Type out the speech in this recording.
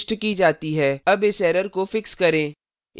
अब इस error को fix करें